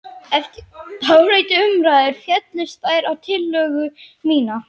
Eftir dálitlar umræður féllust þeir á tillögu mína.